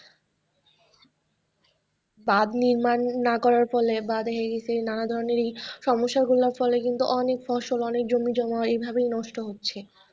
বাঁধ নির্মাণ না করার ফলে বা দেখা গেছে নানা ধরনের এই সমস্যা গুলার ফলে অনেক ফসল অনেক জমিজমা এভাবেই নষ্ট হচ্ছে।